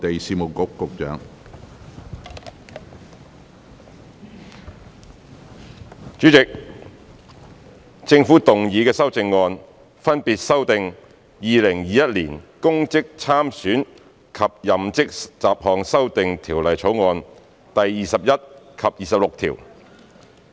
主席，政府動議的修正案，分別修正《2021年公職條例草案》第21及26條。